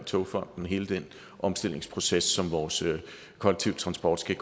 togfonden hele den omstillingsproces som vores kollektive transport skal